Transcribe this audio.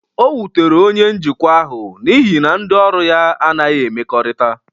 O wutere onye njikwa ahụ n'ihi na ndị ọrụ ya anaghị emekorita.